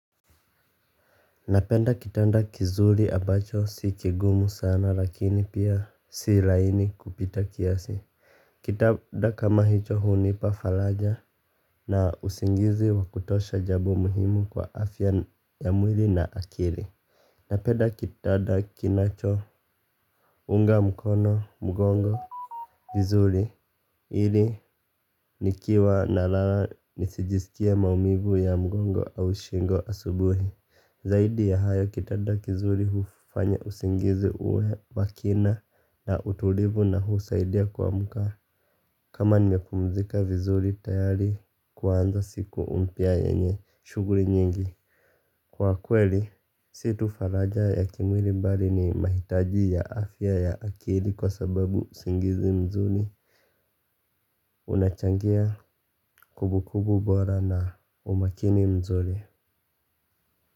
Napenda kitanda kizuri abacho si kigumu sana lakini pia si laini kupita kiasi. Kitanda kama hicho hunipa falaja na usingizi wa kutosha jabo muhimu kwa afya ya mwili na akili. Napenda kitanda kinachounga mkono mgongo vizuri hili nikiwa nalala nisijisikie maumivu ya mgongo au shingo asubuhi. Zaidi ya hayo kitada kizuri hufanya usingizi uwe makina na utulivu na husaidia kuamka. Kama nimepumzika vizuri tayari kuanza siku mpya yenye shughuli nyingi. Kwa kweli, si tu faraja ya kimwiri mbali ni mahitaji ya afya ya akili kwa sababu usingizi mzuri unachangia kubukubu bora na umakini mzuri.